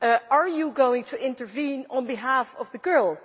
Are you going to intervene on behalf of the girl?